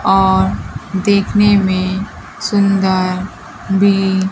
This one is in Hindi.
और देखने में सुंदर भी--